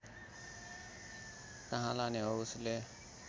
कहाँ लाने हो उसले